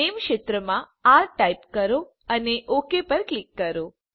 નામે ક્ષેત્રમાં R type કરો અને ઓક ઉપર ક્લિક કરો